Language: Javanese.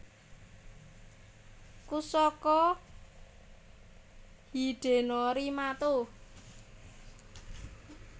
Kusaka Hidenori Mato